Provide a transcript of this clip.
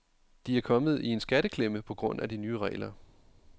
De er kommet i en skatteklemme på grund af de nye regler.